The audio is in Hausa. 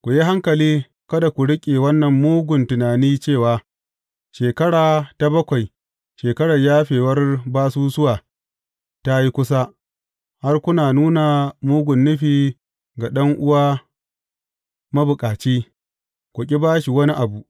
Ku yi hankali kada ku riƙe wannan mugun tunani cewa, Shekara ta bakwai, shekarar yafewar basusuwa, ta yi kusa, har ku nuna mugun nufi ga ɗan’uwa mabukaci, ku ƙi ba shi wani abu.